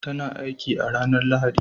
Ta na aiki a ranar Lahadi.